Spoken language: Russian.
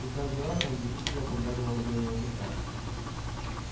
и каждый раз он завистливо поглядывал на белого клыка